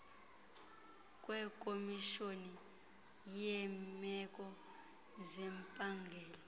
kwekomishoni yeemeko zempangelo